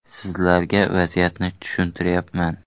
Sizlarga vaziyatimni tushuntiryapman.